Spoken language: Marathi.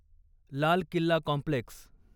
लाल किल्ला कॉम्प्लेक्स